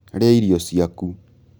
Rĩa irio ciaku